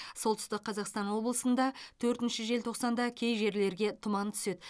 солтүстік қазақстан облысында төртінші желтоқсанда кей жерлерге тұман түседі